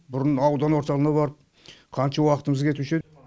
бұрын аудан орталығына барып қаншама уақытымыз кетуші еді